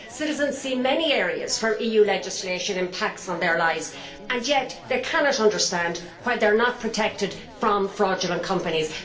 Citizens see many areas where EU legislation impacts on their lives, and so they cannot understand why they are not protected from fraudulent companies.